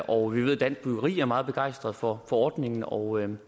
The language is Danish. og vi ved at dansk byggeri er meget begejstret for ordningen og